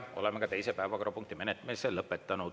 Oleme ka teise päevakorrapunkti menetlemise lõpetanud.